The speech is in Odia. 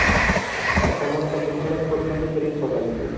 ଆଉ ସମସ୍ତେ dislike କରୁଛନ୍ତି prince hotel କୁ